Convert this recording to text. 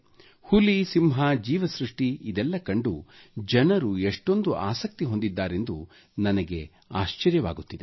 ಹುಲಿ ಸಿಂಹ ಜೀವಸೃಷ್ಟಿ ಇದೆಲ್ಲ ಕಂಡು ಜನರು ಎಷೊಂದು ಆಸಕ್ತಿ ಹೊಂದಿದ್ದಾರೆಂದು ನನಗೆ ಆಶ್ಚರ್ಯವಾಗುತ್ತಿದೆ